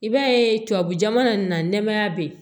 I b'a ye tubabu jamana nin na nɛɛmaya be yen